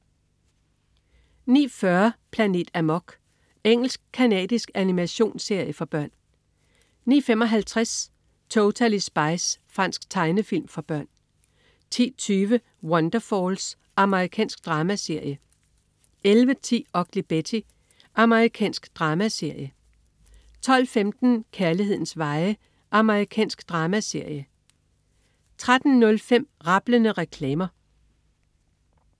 09.40 Planet Amok. Engelsk-canadisk animationsserie for børn 09.55 Totally Spies. Fransk tegnefilm for børn 10.20 Wonderfalls. Amerikansk dramaserie 11.10 Ugly Betty. Amerikansk dramaserie 12.15 Kærlighedens veje. Amerikansk dramaserie 13.05 Rablende reklamer